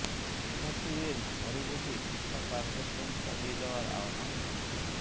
শিক্ষার্থীদের ঘরে বসে শিক্ষা কার্যক্রম চালিয়ে যাওয়ার আহ্বান মন্ত্রীর